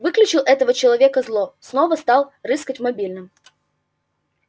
выключил этого человека зло снова стал рыскать в мобильном